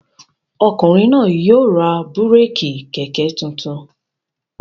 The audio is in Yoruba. Ọkùnrin náà yóò ra búrékì kẹ̀kẹ́ tuntun.